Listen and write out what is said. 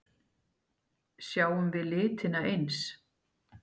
Sjáum við litina eins?